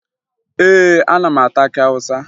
Ee, ana m ata akị Awụsa